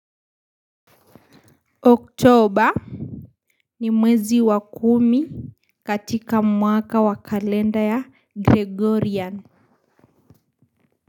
Oktober ni mwezi wa kumi, katika mwaka wa kalenda ya Gregorian.